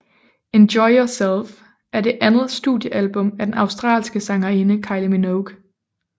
Enjoy Yourself er det andet studiealbum af den australske sangerinde Kylie Minogue